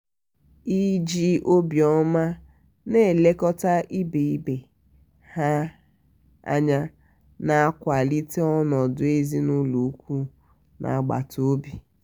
iji obioma na-elekọta ibe ibe ha anya na-akwalite ọnọdụ ezinụlọ ùkwù na agbata obi.